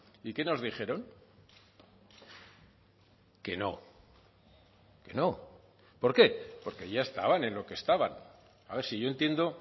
y qué nos dijeron que no que no por qué porque ya estaban en lo que estaban a ver si yo entiendo